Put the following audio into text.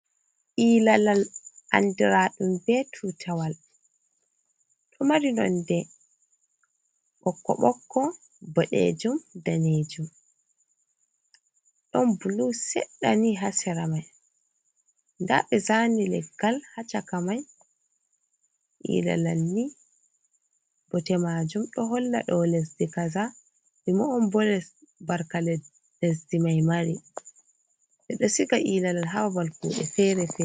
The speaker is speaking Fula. Ilalal andiraɗum ɓe tutewal, ɗo mari nonde ɓokko-ɓokko, boɗejum, danejum, don bulu seɗɗani ha sera mai, nda ɓe zani leggal ha caka mai. Ilalal ni bote majum ɗo holla dau lesdi kaza, ɗime’on bo les, barka lesdi mai mari. Ɓe ɗo siga ilalal ha babal kuɗe fere-fere.